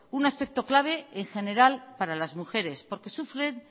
un aspecto clave en general para las mujeres porque sufren